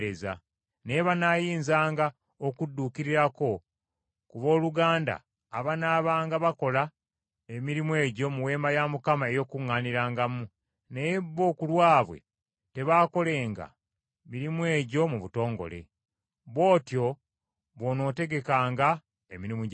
Naye banaayinzanga okudduukirirako ku booluganda abanaabanga bakola emirimu egyo mu Weema ey’Okukuŋŋaanirangamu, naye bo ku lwabwe tebaakolenga mirimu egyo mu butongole. Bw’otyo bw’onootegekanga emirimu gy’Abaleevi.”